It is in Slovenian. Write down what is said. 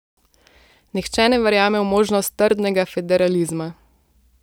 Nihče ne verjame v možnost trdnega federalizma.